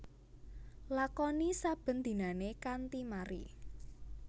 Lakoni saben dinané kanthi mari